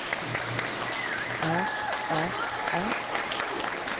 er er er